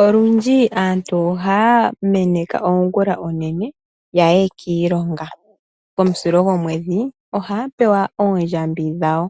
Olundji aantu ohaya meneka ongula onene yaye kiilongo, komusilo gomwedhi ohaya pewa oondjambi dhawo.